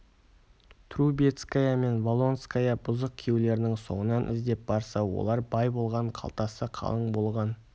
трубецкая мен волконская бұзық күйеулерінің соңынан іздеп барса олар бай болған қалтасы қалың болған